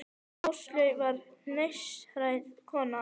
Áslaug var listræn kona.